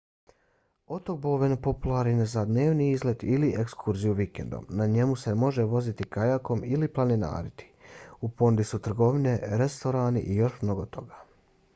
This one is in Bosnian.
otok bowen popularan je za dnevni izlet ili ekskurziju vikendom. na njemu se možete voziti kajakom ili planinariti. u ponudi su trgovine restorani i još mnogo toga